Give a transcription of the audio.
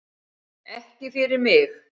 Ekki fyrir mig